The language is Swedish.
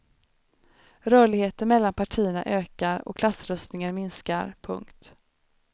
Rörligheten mellan partierna ökar och klassröstningen minskar. punkt